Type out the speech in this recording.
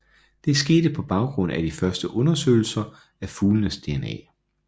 Det skete på baggrund af de første undersøgelser af fuglenes DNA